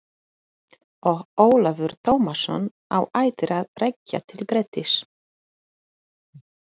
Og Ólafur Tómasson á ættir að rekja til Grettis.